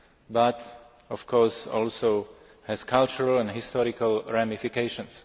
but of course also has cultural and historical ramifications.